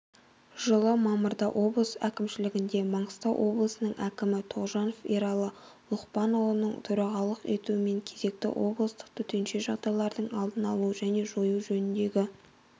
жылы мамырда облыс әкімшілігінде маңғыстау облысының әкімі тоғжанов ералы лұқпанұлының төрағалық етуімен кезекті облыстық төтенше жағдайлардың алдын алу және жою жөніндегі